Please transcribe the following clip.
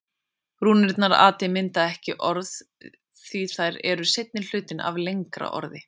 Rúnirnar ati mynda ekki orðið átti því þær eru seinni hlutinn af lengra orði.